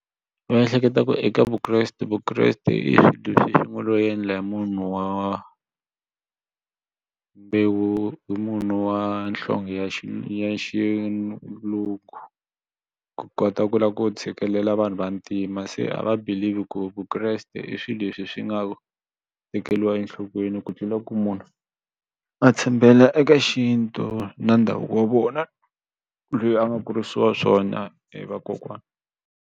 U ehleketa ku eka Vukreste Vukreste i yi ngo lo endla hi munhu wa mbewu hi munhu wa nhlonge ya ya xilungu ku kota ku lava ku tshikelela vanhu vantima se a va believe ku Vukreste i swilo leswi swi nga tekeriwa enhlokweni ku tlula ku munhu a tshembela eka xintu na ndhavuko wa vona loyi a nga kurisiwa swona hi vakokwana.